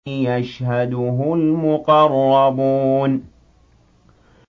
يَشْهَدُهُ الْمُقَرَّبُونَ